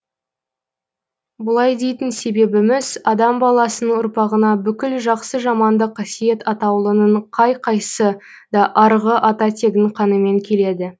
бұлай дейтін себебіміз адам баласының ұрпағына бүкіл жақсы жаманды қасиет атаулының қай қайсы да арғы ата тегінің қанымен келеді